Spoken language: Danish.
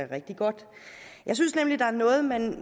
rigtig godt jeg synes at der er noget man